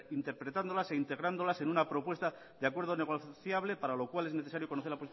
interpretándolas e integrándolas en una propuesta de acuerdo negociable para lo cual es necesario conocer